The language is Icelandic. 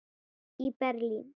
í Berlín.